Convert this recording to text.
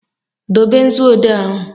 Dobe nzuodee ahụ!